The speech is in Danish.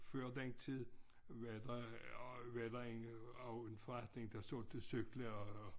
Før den tid var der og var der en også en forretning der solgte cykler og